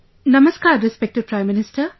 Namaskar, Respected Prime Minister